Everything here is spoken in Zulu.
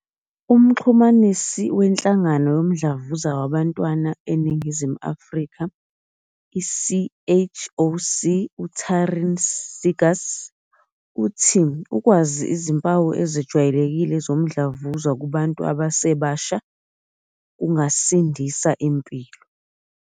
UMxhumanisi weNhlangano Yomdlavuza Wabantwana eNingizimu Afrika, i-CHOC, u-Taryn Seegers uthi ukwazi izimpawu ezejwayelekile zomdlavuza kubantu abasebasha, kungasindisa impilo.